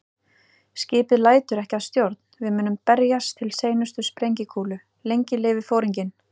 Skipið lætur ekki að stjórn, við munum berjast til seinustu sprengikúlu- lengi lifi Foringinn